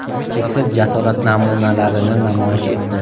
cheksiz jasorat namunalarini namoyish etdi.